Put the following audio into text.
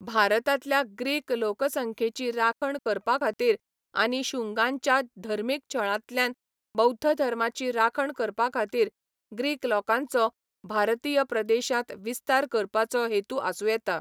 भारतांतल्या ग्रीक लोकसंख्येची राखण करपाखातीर आनी शुंगांच्या धर्मीक छळांतल्यान बौध्द धर्माची राखण करपाखातीर ग्रीक लोकांचो भारतीय प्रदेशांत विस्तार करपाचो हेतू आसूं येता.